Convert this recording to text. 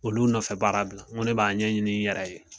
Olu nɔfɛbaara bila n ko ne b'a ɲɛɲini n yɛrɛ ye.